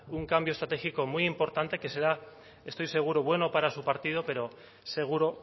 un cambio estratégico muy importante que será estoy seguro bueno para su partido pero seguro